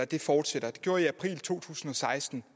det fortsætter det gjorde jeg i april to tusind og seksten